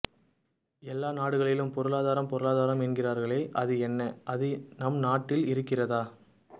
எல்லா நாடுகளும் பொருளாதாரம் பொருளாதாரம் என்கிறார்களே அது என்ன அது நம் நாட்டில் இருக்கிறதா